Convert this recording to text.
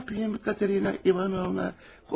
Nə yapayım, Katarina İvanovna?